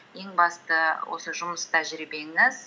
ең басты осы жұмыс тәжірибеңіз